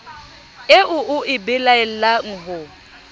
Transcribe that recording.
eo o e belaelang ho